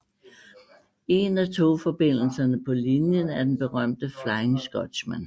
En af togforbindelserne på linjen er den berømte Flying Scotsman